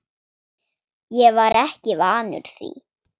Ég var ekki vanur því.